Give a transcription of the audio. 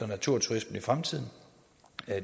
naturturismen i fremtiden